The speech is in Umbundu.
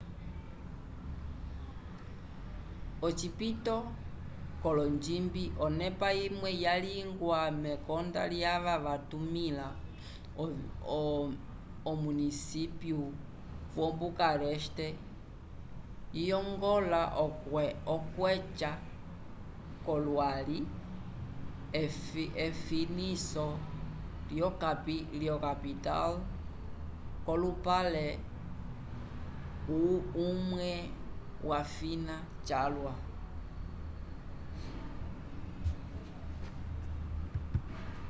ocipito colonjimbi onepa imwe yalingiwa mekonda lyava vatumĩla omunisypiyu yo-bucareste liyongola okweca k'olwali efiniso lyokapital nd'olupale imwe lyafina calwa